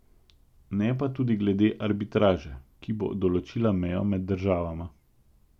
Ne pa tudi glede arbitraže, ki bo določila mejo med državama.